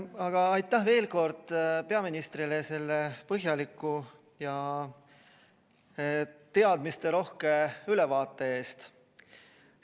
Aga aitäh veel kord peaministrile selle põhjaliku ja teadmisterohke ülevaate eest!